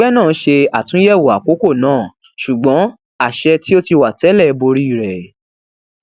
ẹgbẹ náà ṣe àtúnyẹwọ àkókò náà ṣùgbọn àṣẹ tí ó ti wà tẹlẹ borí rẹ